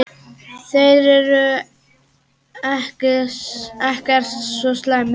Þeir eru ekkert svo slæmir.